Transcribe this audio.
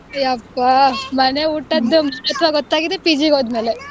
ಎಪ್ಪಾ ಮನೆ ಊಟದ್ದು ಮಹತ್ವ ಗೊತ್ತಾಗಿದ್ದೇ PG ಗ್ ಹೋದ್ಮೇಲೆ .